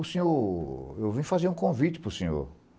O senhor... eu vim fazer um convite para o senhor.